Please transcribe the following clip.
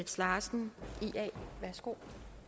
sig sammen og